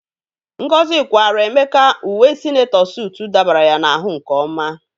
Ngozi kwaara Emeka uwe sinetọ sutu dabara ya n'ahụ nke ọma.